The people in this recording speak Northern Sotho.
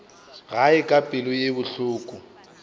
gae ka pelo ye bohloko